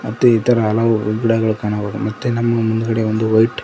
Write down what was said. ಮತ್ತೆ ಇತರ ಹಲವು ಗಿಡಗಳನ್ನು ಕಾಣಬಹುದು ಮತ್ತೆ ನಮ್ಮ ಮುಂದ್ಗಡೆ ವೈಟ್ --